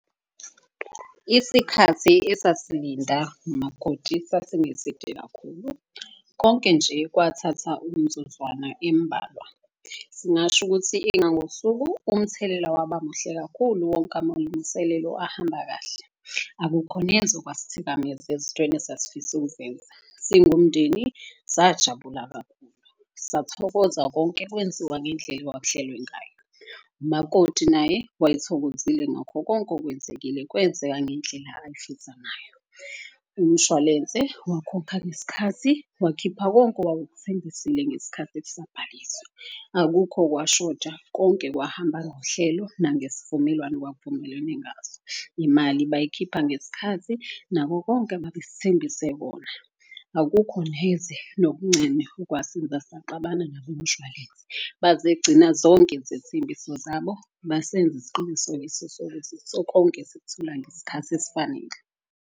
Isikhathi esasilinda nomakoti sasingeside kakhulu, konke nje kwathatha umzuzwana embalwa. Singasho ukuthi engangosuku umthelela waba muhle kakhulu wonke amalungiselelo ahamba kahle. Akukho neze okwasithikameza ezintweni esasifisa ukuzenza, singumndeni sajabula kakhulu. Sathokoza konke kwenziwa ngendlela okwakuhlelwe ngayo. Umakoti naye wayethokozile ngakho konke okwenzekile, kwenzeka ngendlela ayefisa ngayo. Umshwalense wakhokha ngesikhathi wakhipha konke owawukuthembile ngesikhathi kusabhaliswa. Akukho okwashoda konke kwahamba ngohlelo nangesivumelwano okwakuvumelwene ngaso. Imali bayikhipha ngesikhathi nako konke, ababesithembise kona. Akukho neze nokuncane okwasenza saxabana nabomshwalense. Bazegcina zonke izethembiso zabo, basenza isiqinisekiso sokuthi konke sikuthola ngesikhathi esfanele.